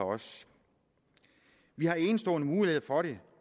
vi har enestående muligheder for det